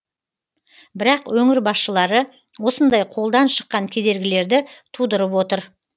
бірақ өңір басшылары осындай қолдан шыққан кедергілерді тудырып отыр